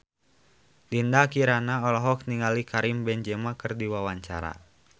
Dinda Kirana olohok ningali Karim Benzema keur diwawancara